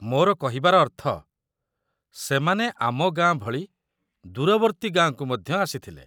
ମୋର କହିବାର ଅର୍ଥ, ସେମାନେ ଆମ ଗାଁ ଭଳି ଦୂରବର୍ତ୍ତୀ ଗାଁକୁ ମଧ୍ୟ ଆସିଥିଲେ।